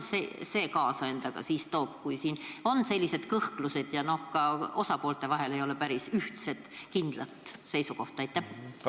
Mida see endaga kaasa toob, kui siin on sellised kõhklused ja ka osapoolte vahel ei ole päris ühtset kindlat seisukohta?